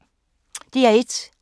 DR1